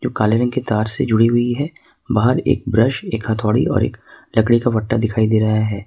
काले रंग के तार से जुड़ी हुई है बाहर एक ब्रश एक हथौड़ी और एक लकड़ी का बट्टा दिखाई दे रहा है।